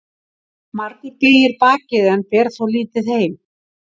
Margur beygir bakið en ber þó lítið heim.